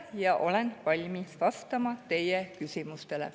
Ja olen valmis vastama teie küsimustele.